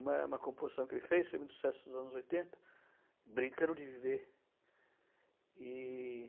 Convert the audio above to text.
Uma uma composição que ele fez, em mil setecentos e oitenta, brincando de viver. E...